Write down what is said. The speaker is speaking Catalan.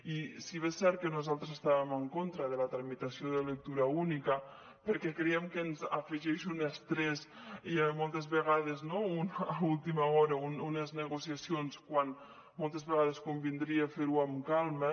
i si bé és cert que nosaltres estàvem en contra de la tramitació de lectura única perquè creiem que ens afegeix un estrès i moltes vegades a última hora unes negociacions que moltes vegades convindria fer les amb calma